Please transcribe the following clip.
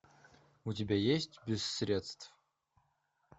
у тебя есть без средств